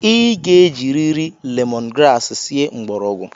I ga-ejiriri lemon grass sie mgbọrọgwụ!